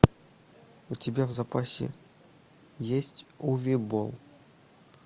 у тебя в запасе есть уве болл